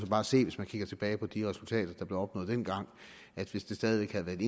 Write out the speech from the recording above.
bare se hvis man kigger tilbage på de resultater der blev opnået dengang at hvis det stadig væk havde været